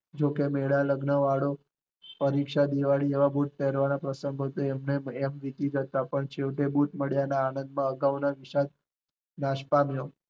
જોકે મેળા, લગનવાળો, પરીક્ષા, દિવાળી, એવા બુટ પેરવાના પ્રંસગો તો એમ વીતી જતા છેલ્લે બુટ મળ્યા ના આનંદ નો અગાઉ ના વિશાલ નાશ પામ્યો